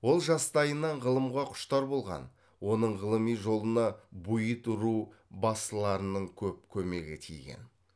ол жастайынан ғылымға құштар болған оның ғылыми жолына буид ру басыларының көп көмегі тиген